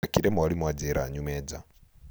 thekire mwarĩmũ anjĩra nyume nja